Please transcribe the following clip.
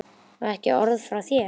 Og ekki orð frá þér!